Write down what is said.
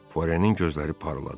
Puarenin gözləri parladı.